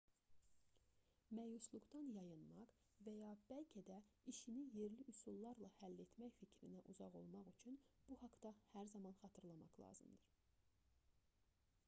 məyusluqdan yayınmaq və ya bəlkə də işini yerli üsullarla həll etmək fikrinə uzaq olmaq üçün bu haqda hər zaman xatırlamaq lazımdır